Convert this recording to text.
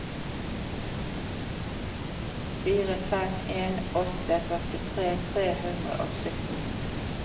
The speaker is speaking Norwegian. fire fem en åtte førtitre tre hundre og sytten